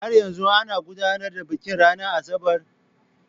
Har yanzu ana gudanar da bikin ranar Asabar.